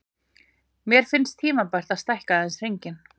Mér finnst tímabært að stækka aðeins hringinn.